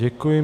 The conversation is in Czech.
Děkuji.